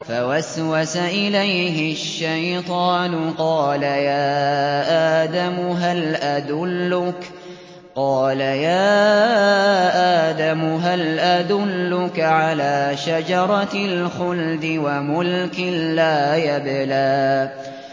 فَوَسْوَسَ إِلَيْهِ الشَّيْطَانُ قَالَ يَا آدَمُ هَلْ أَدُلُّكَ عَلَىٰ شَجَرَةِ الْخُلْدِ وَمُلْكٍ لَّا يَبْلَىٰ